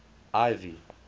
ivy